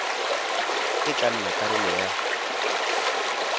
e tla nna karolo ya